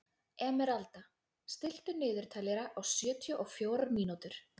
Emeralda, stilltu niðurteljara á sjötíu og fjórar mínútur.